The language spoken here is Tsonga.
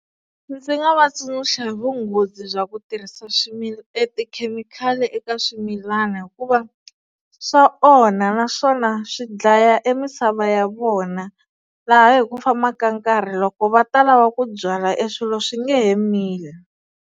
Ndzi nga va tsundzuxa hi vunghozi bya ku tirhisa e tikhemikhali eka swimilana hikuva swa onha naswona swi dlaya e misava ya vona laha hi ku famba ka nkarhi loko va ta lava ku byala e swilo swi nge he mili.